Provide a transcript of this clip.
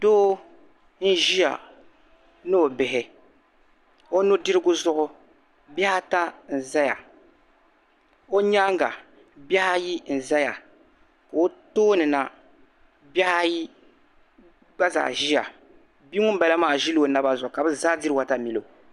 Doo n ʒiya ni o bihi onudirigu zuɣu bihi ata n zaya. ɔ nyaaŋa. bihi ayi n zaya. ɔ tooni na bihi ayi gba zaa ʒiya, bi ŋun bala maa ʒila ɔ naba zuɣu ka bi zaa diri Water milo